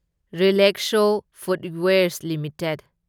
ꯔꯤꯂꯦꯛꯁꯣ footwears limited